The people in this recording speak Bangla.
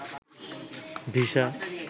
ভিসা